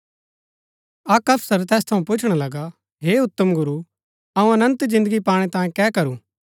अक्क अफसर तैस थऊँ पुछणा लगा हे उत्तम गुरू अऊँ अनन्त जिन्दगी पाणै तांयें कै करू